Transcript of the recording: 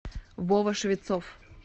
вова швецов